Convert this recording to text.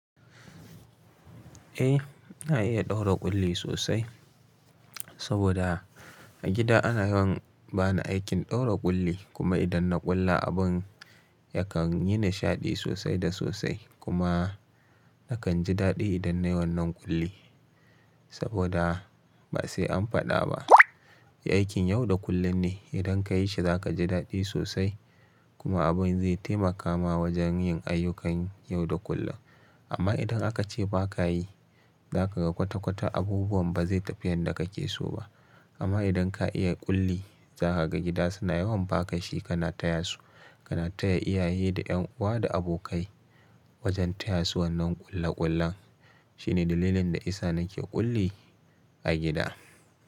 Eh ina iya ɗaura ƙulli sosai, saboda a gida ana yawan bani aikin ɗaura ƙulli kuma idan na ƙulla abin yakan yi nishaɗi sosai da sosai kuma na kanji ɗaɗi idan nayi wannan kulli. Saboda basai an fada ba. Aikin yau da kulle ne idan kayi shi zaka ji daɗi sosai. Kuma abin zai taimaka ma wajen yin ayyukan yau da kullum. Amma idan akace bakayi, zakaga kwata-kwata abubuwan bazai tafi yadda kake so ba. Amma idan ka iya kulli zakaga gida suna yawan baka shi, kana tayasu, kana taya iyaye da ƴan uwa da abokai wajen tayasu wannan ƙulle-ƙullen. Shine dalilin da isa nake ƙulli a gida.